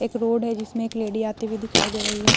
एक रोड है जिसमे एक लेडी आती हुई दिखाई दे रही है ।